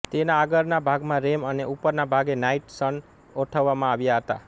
તેના આગળના ભાગમાં રેમ અને ઉપરના ભાગે નાઈટ સન ગોઠવવામાં આવ્યાં હતાં